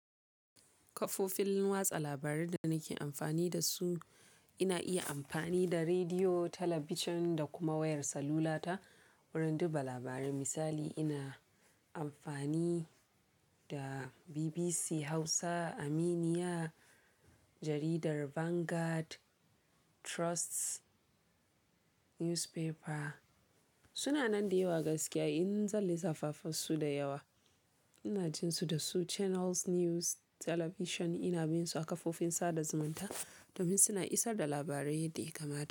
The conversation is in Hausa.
Kafofin watsa labarai da nake amfani da su ina iya amfani da rediyo, talabijin da kuma wayar salula ta wurin duba labarai. Misali ina amfani da BBC Hausa, Aminiya, Jaridar Vanguard, Trust Newspaper. Suna nan da yawa gaskiya in zan lissafa fa su da yawa. Ina jin su da su Channels News Talabijin ina bin su a kafofin sada zumunta domin suna isar da labarai yadda ya kamata.